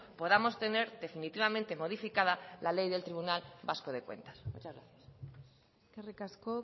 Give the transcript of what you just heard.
podamos tener definitivamente modificada la ley del tribunal vasco de cuentas muchas gracias eskerrik asko